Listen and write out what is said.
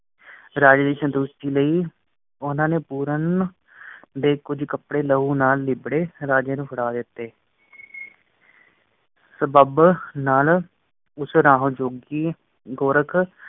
ਰਾਜੇ ਦੀ ਸੰਤੁਸ਼ਟੀ ਲਈ ਉਹਨਾਂ ਨੇ ਪੂਰਨ ਦੇ ਕੁਜ ਕੱਪੜੇ ਲਹੂ ਨਾਲ ਲਿਬੜੇ, ਰਾਜੇ ਨੂੰ ਫੜਾ ਦਿਤੇ। ਸਬੱਬ ਨਾਲ ਉਸ ਰਾਹ ਜੋਗੀ ਗੋਰਖ।